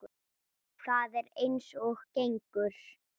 Það er eins og gengur.